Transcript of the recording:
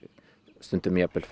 stundum